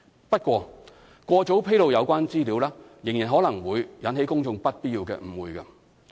不過，過早披露有關資料仍然可能會引起公眾不必要的誤會。